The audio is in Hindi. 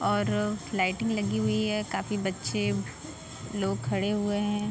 और लाइटिंग लगी हुई है। काफी बच्चे लोग खड़े हुए हैं।